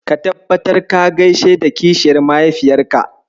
Ka tabbatar ka gaishe da kishiyar mahaifiyarka.